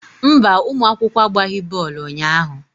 Mba, ụmụ akwụkwọ agbaghị bọọlụ unyaahụ.